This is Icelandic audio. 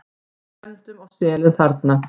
Við stefndum á selin þarna.